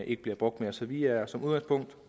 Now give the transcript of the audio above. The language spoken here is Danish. ikke bliver brugt mere så vi er som udgangspunkt